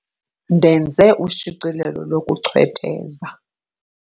Ndenze ushicilelo lokuchwetheza.